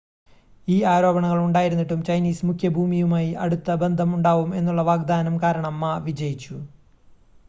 ഈ ആരോപണങ്ങൾ ഉണ്ടായിരുന്നിട്ടും ചൈനീസ് മുഖ്യഭൂമിയുമായി അടുത്ത ബന്ധം ഉണ്ടാവും എന്നുള്ള വാഗ്ദാനം കാരണം മാ വിജയിച്ചു